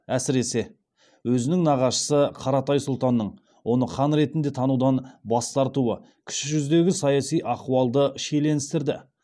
әсіресе өзінің нағашысы қаратай сұлтанның оны хан ретінде танудан бас тартуы кіші жүздегі саяси ахуалды шиеленістірді